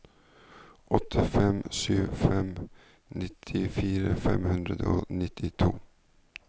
åtte fem sju fem nittifire fem hundre og nittito